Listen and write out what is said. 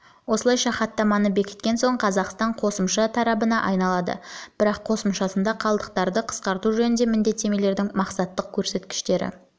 осылайша хаттаманы бекіткен соң қазақстан қосымша тарабына айналады бірақ қосымшасында қалдықтарды қысқарту жөніндегі міндеттемелердің мақсаттық көрсеткіштері